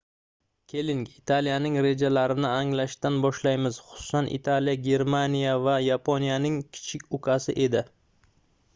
keling italiyaning rejalarini anglashdan boshlaymiz xususan italiya germaniya va yaponiyaning kichik ukasi edi